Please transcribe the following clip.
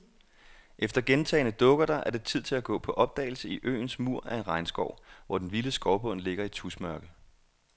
Efter gentagne dukkerter er det tid til at gå på opdagelse i øens mur af en regnskov, hvor den vilde skovbund ligger i tusmørke.